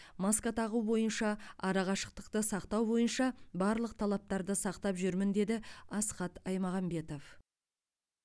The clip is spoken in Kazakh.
маска тағу бойынша арақашықтықты сақтау бойынша барлық талаптарды сақтап жүрмін деді асхат аймағамбетов